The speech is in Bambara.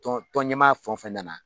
Tɔnɲɛmaa fɛn o fɛn nana